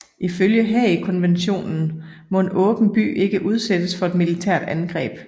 Ifølge Haagkonventionen må en åben by ikke udsættes for et militært angreb